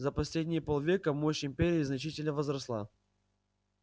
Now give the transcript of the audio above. за последние полвека мощь империи значительно возросла